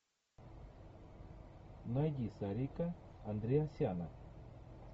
найди сарика андреасяна